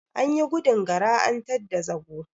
Anyi gudun Gara an tadda zago.